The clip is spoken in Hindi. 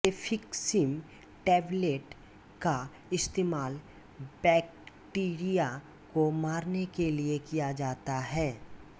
सेफीक्सीम टैबलेट का इस्तेमाल बैक्टीरिया को मारने के लिए किया जाता है